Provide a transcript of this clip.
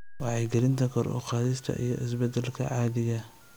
Wacyigelinta kor u qaadista iyo isbeddelka caadiga ah